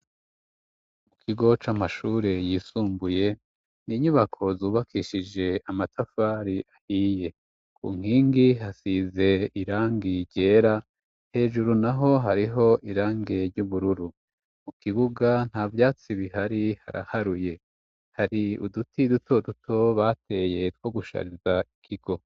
Mu kigo c'amashure yisumbuye inyubako zubakishije amatafari ahiye ku nkingi hasize irangi ryera hejuru naho hariho irangi ry'ubururu mu kibuga nta vyatsi bihari haraharuye hari uduti duto duto bateye two gushariza ikigo.